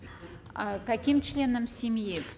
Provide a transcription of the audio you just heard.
а каким членам семьи